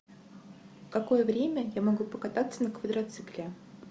какое время я могу покататься на квадроцикле